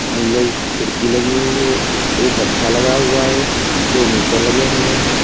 नीले खिड़की लगी हुई है एक हत्था लगा हुआ है दो मीटर लगे हुए हैं।